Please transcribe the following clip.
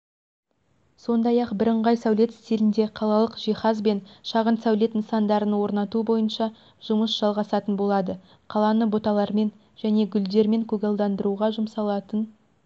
сондай-ақ бірыңғай сәулет стилінде қалалық жиһаз бен шағын сәулет нысандарын орнату бойынша жұмыс жалғасатын болады қаланы бұталармен және гүлдермен көгалдандыруға жұмсалатын